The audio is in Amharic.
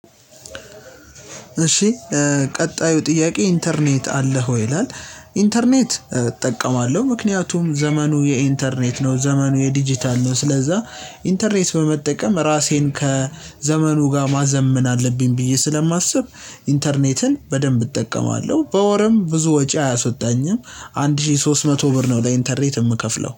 እሺ ቀጣዩ ጥያቄ ኢንተርኔት አለህ ወይ ይላል? ኢንተርኔት እጠቀማለሁ ምክንያቱም ዘመኑ የኢንተርኔት ነው ዘመኑ የዲጂታል ነው። ስለዛ ኢንተርኔት በመጠቀም ራሴን ከዘመኑ ጋር ማዘመን አለብኝ ብዬ ስለማስብ ኢንተርኔትን በደንብ እጠቀማለሁ። በወርም ብዙ ወጪ አያስወጣኝም አንድ ሺህ ሶስት መቶ ብር ነው ለኢንተርኔት የምከፍለው